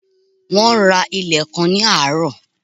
Wón ra ilẹ̀ kan ní àárọ̀